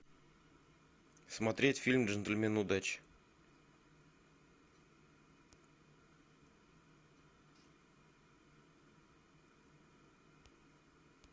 смотреть фильм джентльмены удачи